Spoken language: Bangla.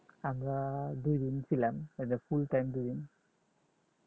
আমরা দুইদিন ছিলাম full time দুইদিন